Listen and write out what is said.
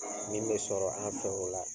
Min me sɔrɔ an fɛ o la.